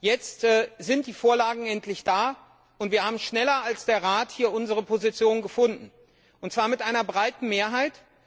Jetzt sind die Vorlagen endlich da, und wir haben hier schneller als der Rat unsere Position gefunden, und zwar mit einer breiten Mehrheit.